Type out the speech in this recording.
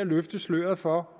at løfte sløret for